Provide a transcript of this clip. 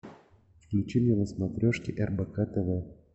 включи мне на смотрешке рбк тв